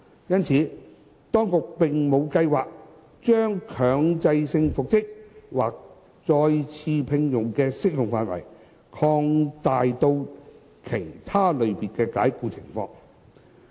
因此，當局並無計劃將強制性復職或再次聘用的適用範圍擴大至其他類別的解僱情況。